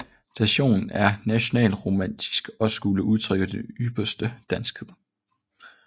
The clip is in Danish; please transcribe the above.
Stilen er nationalromantisk og skulle udtrykke den ypperste danskhed